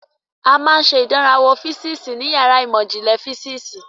A máa ń ṣe ìdánrawò físíìsì ní yàrá ìmọ̀ ìjìnlẹ̀ físíìsì.